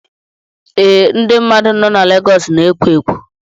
Ee, ndị mmadụ nọ na Legọs na-ekwo ekwo